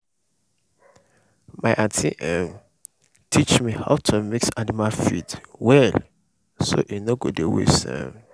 my aunty um teach me how to mix animal feed well so e no go waste. um